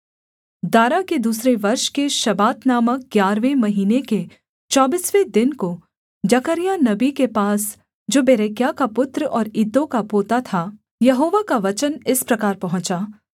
दारा के दूसरे वर्ष के शबात नामक ग्यारहवें महीने के चौबीसवें दिन को जकर्याह नबी के पास जो बेरेक्याह का पुत्र और इद्दो का पोता था यहोवा का वचन इस प्रकार पहुँचा